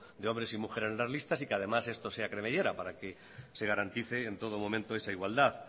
de hombres y mujeres en las listas y además esto sea cremallera para que se garantice en todo momento esa igualdad